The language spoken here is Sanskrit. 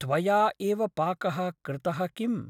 त्वया एव पाकः कृतः किम् ?